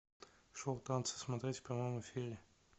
шоу танцы смотреть в прямом эфире